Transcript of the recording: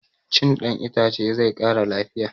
Cin ɗan itace zai ƙara lafiya